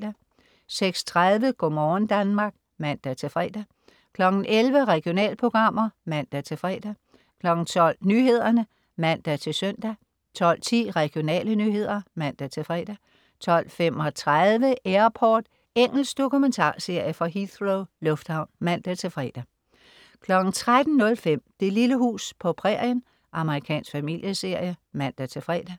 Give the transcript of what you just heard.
06.30 Go' morgen Danmark (man-fre) 11.00 Regionalprogrammer (man-fre) 12.00 Nyhederne (man-søn) 12.10 Regionale nyheder (man-fre) 12.35 Airport. Engelsk dokumentarserie fra Heathrow lufthavn (man-fre) 13.05 Det lille hus på prærien. Amerikansk familieserie (man-fre)